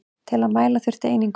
Til að mæla þurfti einingu.